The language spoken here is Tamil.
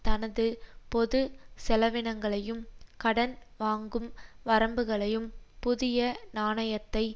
தனது பொது செலவினங்களையும் கடன் வாங்கும் வரம்புகளையும் புதிய நாணயத்தை